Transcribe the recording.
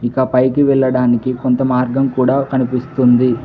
ఇంకా పైకి వెళ్ళడానికి కొంత మార్గం కూడా కనిపిస్తుంది.